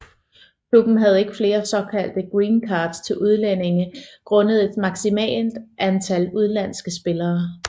Klubben havde ikke flere såkaldte green cards til udlændinge grundet et maksmimalt antal udlandske spillere